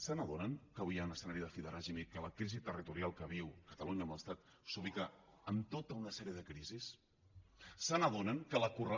se n’adonen que avui hi ha un escenari de fi de règim i que la crisi territorial que viu catalunya amb l’estat s’ubica en tota una sèrie de crisis se n’adonen que la correla